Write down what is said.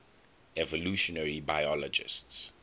evolutionary biologists